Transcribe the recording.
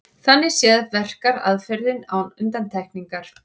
Þannig séð verkar aðferðin án undantekningar.